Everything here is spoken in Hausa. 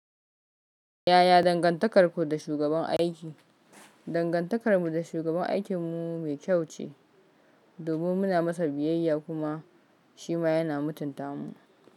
Yaya dangantakarku da shugaban aiki? Dangantakar mu da shugaban aikin mu mai kyau ce, domin muna masa biyayya kuma shi ma yana mutunta mu.